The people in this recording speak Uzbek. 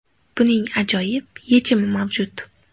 Buning ajoyib yechimi mavjud.